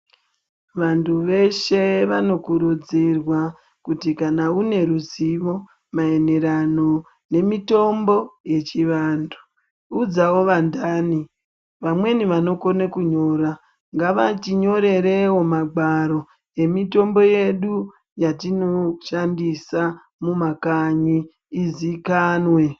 Vantu veshe vanokurudzirwa kuti kana une ruzivo maererano nemitombo yechiantu udzawo vantani vamweni vanokone kunyora ngavatinyorerewo magwaro emitombo yedu yatinoshandisa mumakhanyi izikanwe.